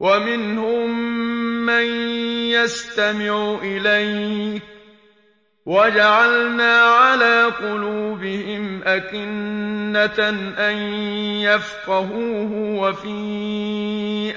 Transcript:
وَمِنْهُم مَّن يَسْتَمِعُ إِلَيْكَ ۖ وَجَعَلْنَا عَلَىٰ قُلُوبِهِمْ أَكِنَّةً أَن يَفْقَهُوهُ وَفِي